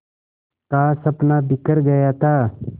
का सपना बिखर गया था